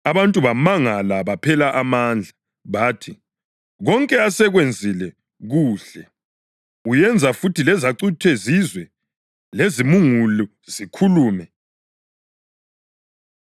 Abantu bamangala baphela amandla. Bathi, “Konke asekwenzile kuhle. Uyenza futhi lezacuthe zizwe, lezimungulu zikhulume.”